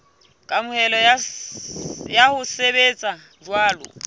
kamohelo ya ho sebetsa jwalo